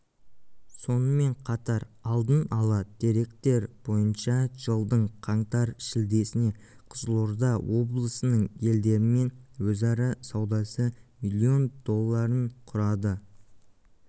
сонымен қатар алдын ала деректер бойынша жылдың қаңтар-шілдесіне қызылорда облысының елдерімен өзара саудасы миллион долларын құрады